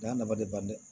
N y'a nafa de ban dɛ